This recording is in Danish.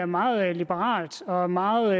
meget liberalt og meget